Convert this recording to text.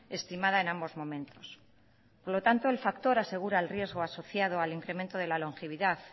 estimada en ambos momentos por lo tanto el factor asegura el riesgo asociado al incremento de la longevidad